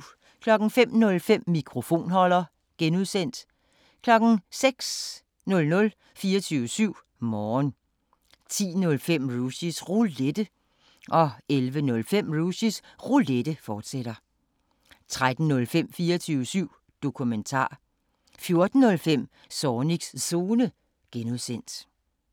05:05: Mikrofonholder (G) 06:00: 24syv Morgen 10:05: Rushys Roulette 11:05: Rushys Roulette, fortsat 13:05: 24syv Dokumentar 14:05: Zornigs Zone (G)